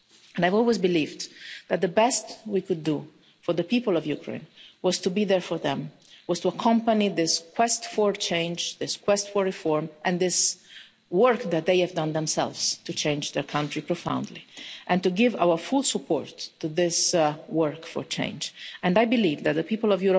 I have always believed that the best we could do for the people of Ukraine was to be there for them, was to accompany this quest for change, this quest for reform and this work that they have done themselves to change their country profoundly and to give our full support to this work for change. And I believe that the people of